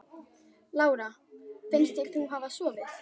Lára: Finnst þér hún hafa sofið?